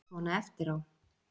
Svona eftir á.